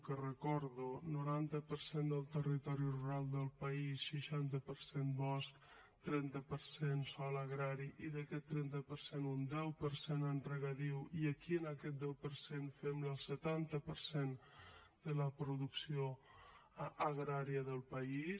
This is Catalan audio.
que ho recordo noranta per cent del territori rural del país seixanta per cent bosc trenta per cent sòl agrari i d’aquest trenta per cent un deu per cent en regadiu i aquí en aquest deu per cent fem el setanta per cent de la producció agrària del país